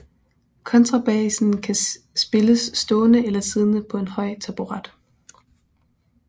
Kontrabassen kan spilles stående eller siddende på en høj taburet